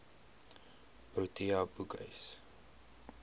protea boekhuis